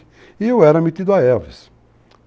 E eu era metido a Elvis.